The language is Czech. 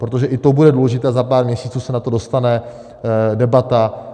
Protože i to bude důležité, za pár měsíců se na to dostane debata.